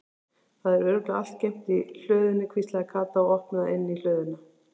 Það er örugglega allt geymt í hlöðunni hvíslaði Kata og opnaði inn í hlöðuna.